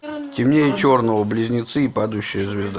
темнее черного близнецы и падающая звезда